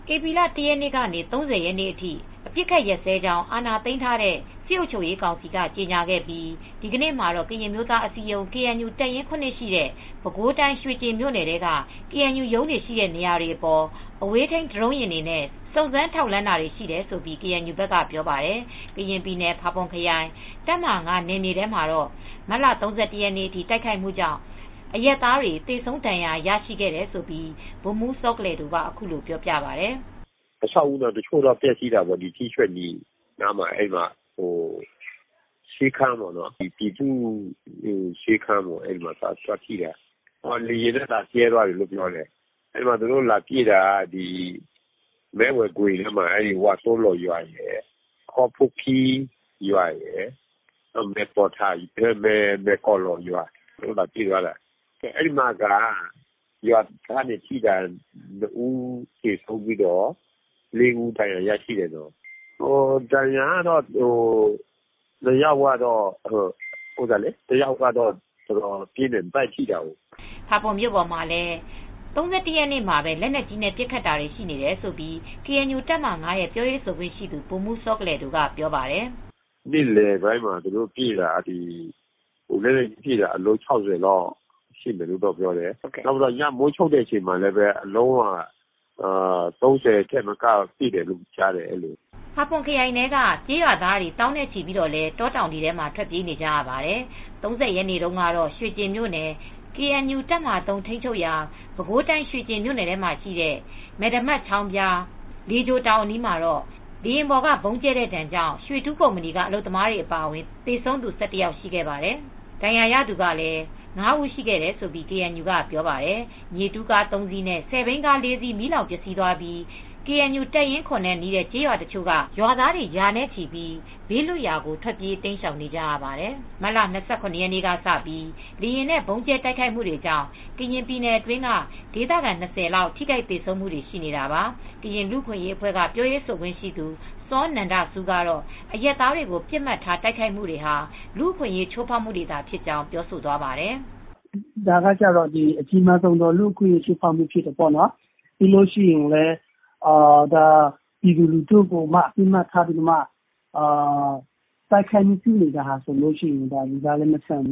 ဧပြီလ ၁ ရက်ကနေ ၃၀ ရက်နေ့အထိ အပစ်အခတ်ရပ်စဲကြောင်း အာဏာသိမ်းထားတဲ့ နစက စစ်ကောင်စီက ကြေညာခဲ့ပြီး ဒီနေ့မှာတော့ ကရင်အမျိုးသား အစည်းအရုံး ကေအန်ယူ တပ်ရင်း (၇) ရှိတဲ့ ပဲခူးတိုင်း ရွေကျင်မြိ့ုနယ်ထဲက ကေအန်ယူရုံးရှိတဲ့နေရာတွေအပေါ် အဝေးထိန်း ဒရုန်းယာဉ်တွေနဲ့ စုံစမ်းထောက်လှမ်းတာတွေရှိတယ်လို့ ကေအန်ယူဖက်က ပြောပါတယ်။ ကရင်ပြည်နယ် ဖာပွန်ခရိုင် တပ်မဟာ(၅) နယ်မြေထဲမှာတော့ မတ်လ ၃၁ ရက်နေ့အထိ တိုက်ခိုက်မူကြောင့် အရပ်သားတွေ သေဆုံးဒဏ်ရာရရှိခဲ့တယ်လို့ ဗိုလ်မူးစောကလယ်ဒိုက အခုလိုပြောပြပါတယ် "အဆောက်အဦးတော့ ထိခိုက်ပျက်စီးတာရှိတယ် ထီးဆွဲ့မီနားမှာ ဆေခန်းပေါ့ ဒေပူနိုဆေခန်းပေါ့ လေယာဉ်နဲ့ ဗုံးကြဲ သွားတယ် သူတို့လာပစ်တာ မဲဝိုင်ဂွင်ထဲမှာ ဝါးသိုလိုရွာရယ် ခေါ်ဖူးခီးရွာရယ် မယ်ကောလောရွာရယ်ကို သူတို့လာပစ်သွားတာ အဲဒီမှာရွာသားတွေသေတာ ၂ဦးသေဆုံးပြီး ၄ ဦးက ဒဏ်ရာရတယ် ဒဏ်ရာရတာတဦးကအတော်ပြင်းတယ် ဗိုက်ကိုထိသွားတယ် ဖာပွန်မြို့ ပေါ်မှာလည်း ၃၁ ရက်နေ့မှာပဲ လက်နက်ကြီးနဲ့ ပစ်ခတ်တာတွေရှိနေတယ်လို့ ကေအန်ယူတပ်မဟာ(၅) ပြောရေးဆိုခွင့်ရှိသူ ဗိုလ်မူးစောကလယ်ဒိုကပြောပြပါတယ် " "နေလည်ပိုင်းမှာလည်း လက်နက်ကြီးအလုံး ၆၀ လောက်ပစ်တယ် ပြောတယ် ညမိုးချုပ်တွေမှာလည်း လက်နက်ကြီးအလုံး ၃၀လောက်ပစ်တယ် ကြားတယ်" ဖာပွန်ခရိုင်ထဲက ကျေးရွာသားသောင်းနဲ့ ချီဟာလည်း တောတောင်တွေထဲ ထွက်ပြေးနေကြရပါတယ်။ ၃၀ ရက်နေ့တုန်းကတော့ ရွေကျင်မြို့နယ် KNU- တပ်မဟာ-၃ ထိန်းချုပ်ရာ ပဲခူးတိုင်း ရွှေကျင်မြို့နယ်ထဲမှာရှိတဲ့ မယ်ဒမတ်ချောင်းဖျား၊ လေချိုတောင်အနီးမှာ လေယာဉ်ပေါ်က ဗုံးကျဲတဲ့ဒဏ်ကြောင့် ရွေတူးကုမ္ပဏီ အလုပ်သမားတွေအပါအဝင် သေဆုံးသူ ၁၁ ယောက်သေဆုံးခဲ့ပါတယ်။ ဒဏ်ရာရရှိသူကလည်း ၅ ဦး ရှိခဲ့တယ်လို့ KNU ကပြောပါတယ်။ မြေတူးကား ၃ စီးနဲ့ ဆယ်ဘီးကား ၄ စီး မီးလောင်ပျက်စီးသွားပြီး ကေအန်ယူတပ်ရင်း (၇) နဲ့နီးတဲ့ ကျေးရွာတချို့က ရွာသား ရာနဲ့ချီပြီးဘေးလွတ်ရာကို ထွက်ပြေးနေကြရပါတယ်။ မတ်လ ၂၇ ရက်နေ့စပြီး လေယာဉ်နဲ့ဗုံးကြဲတိုက်ခိုက်မူတွေကြောင့် ကရင်ပြည်နယ်အတွင်းက ဒေသခံ ၂၀ လောက် ထိခိုက်သေဆုံးမူတွေရှိနေတာပါ။ ကရင်လူအခွင့်ရေးအဖွဲကပြောရေးဆိုခွင့်ရှိသူ စောနန္ဒဆူးကတော့ အရပ်သားတွေကိုပြစ်မှတ်ထားတိုက်ခိုက်မူတွေဟာ လူ့အခွင့်ရေးချိုးဖောက်မူတွေဖြစ်ကြောင်းပြောဆိုသွားပါတယ် "ဒါကတော့ အကြီးမားဆုံးလူ့အခွင့်ရေးချိုးဖောက်မူ့ဖြစ်တယ် ဒါကပြည်သူလူထုကို အဓိကထားပစ်မှတ်ထားတာက တော့တိုက်ခိုက်တာက လူသားလည်းမဆန်ဘ